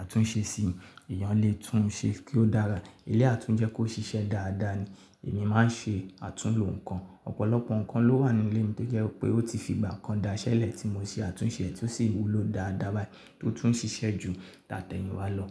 àtúnṣe sí i, èyàn lè tún un ṣe kí ó dára. Eléyí átún jẹ́ kó ṣiṣẹ́ dáadáa ni. Èmi máa ń ṣe àtúnlo nǹkan. Ọ̀pọ̀lọpọ̀ nǹkan ló wà nínú ilé mi tó jẹ́ pé ó ti fi ìgbà kan da iṣẹ́ lẹ̀ tí mo ṣe àtúnṣe rẹ̀ tí ó sì wúlò dáadáa báyìí tí ó tún ń ṣiṣẹ́ ju tàtẹ̀ẹ̀yìnwá lọ.